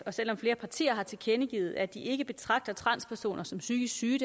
og selv om flere partier har tilkendegivet at de ikke betragter transpersoner som psykisk syge